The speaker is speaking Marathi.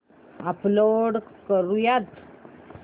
अपलोड करुयात